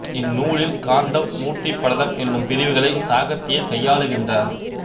இந்நூலில் காண்டம் மூர்த்தி படலம் என்னும் பிரிவுகளை சுகாத்தியர் கையாளுகின்றார்